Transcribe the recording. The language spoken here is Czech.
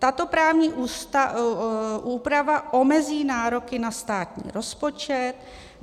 Tato právní úprava omezí nároky na státní rozpočet.